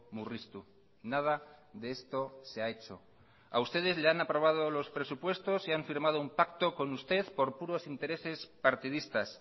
murriztu nada de esto se ha hecho a ustedes le han aprobado los presupuestos y han firmado un pacto con usted por puros intereses partidistas